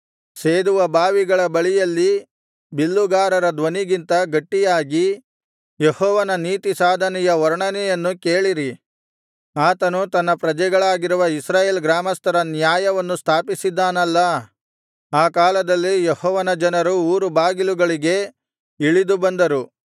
ಸೇದುವ ಬಾವಿಗಳ ಬಳಿಯಲ್ಲಿ ಬಿಲ್ಲುಗಾರರ ಧ್ವನಿಗಿಂತ ಗಟ್ಟಿಯಾಗಿ ಯೆಹೋವನ ನೀತಿಸಾಧನೆಯ ವರ್ಣನೆಯನ್ನು ಕೇಳಿರಿ ಆತನು ತನ್ನ ಪ್ರಜೆಗಳಾಗಿರುವ ಇಸ್ರಾಯೇಲ್ ಗ್ರಾಮಸ್ಥರ ನ್ಯಾಯವನ್ನು ಸ್ಥಾಪಿಸಿದ್ದಾನಲ್ಲಾ ಆ ಕಾಲದಲ್ಲಿ ಯೆಹೋವನ ಜನರು ಊರುಬಾಗಿಲುಗಳಿಗೆ ಇಳಿದು ಬಂದರು